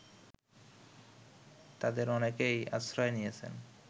তাদের অনেকেই আশ্রয় নিয়েছেন